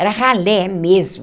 Era ralé mesmo.